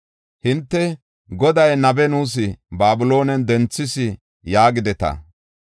Hinte, “Goday nabe nuus Babiloonen denthis” yaagideta.